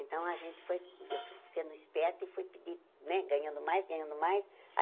Então, a gente foi eu fui ficando esperta e fui né ganhando mais, ganhando mais. Aí